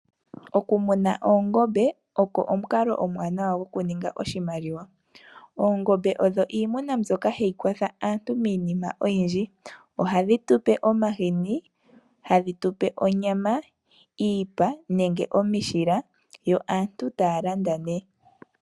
Okumuna oongombe, oko omukalo omuwanawa, oku ninga oshimaliwa. Oongombe odho iimuna mbyoka ha yi kwatha aantu miinima oyindji. Oha dhi tu pe omahini, hadhi tu pe onyama, iipa nenge omishila, yo aantu ta ya landa ne.